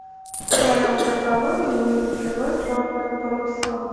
в твоем каталоге есть кино черные паруса